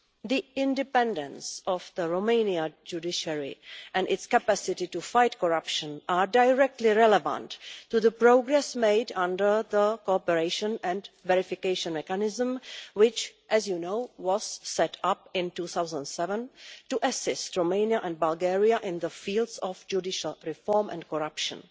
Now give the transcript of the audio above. The independence of the Romanian judiciary and its capacity to fight corruption are directly relevant to the progress made under the Cooperation and Verification Mechanism, which, as you know, was set up in 2007 to assist Romania and Bulgaria in the fields of judicial reform and corruption